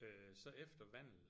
Øh så efter Vandel